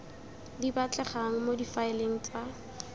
di batlegang mo difaeleng tsa